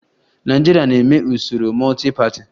Nigeria na-eme usoro multi-party